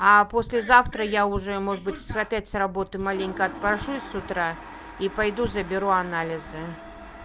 а послезавтра я уже может быть с опять с работы маленько отпрошусь с утра и пойду заберу анализы